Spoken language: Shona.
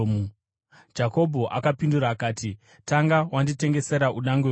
Jakobho akapindura akati, “Tanga wanditengesera udangwe hwako.”